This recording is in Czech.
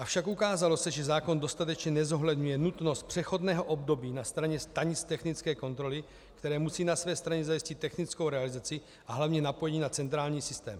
Avšak ukázalo se, že zákon dostatečně nezohledňuje nutnost přechodného období na straně stanic technické kontroly, které musí na své straně zajistit technickou realizaci a hlavně napojení na centrální systém.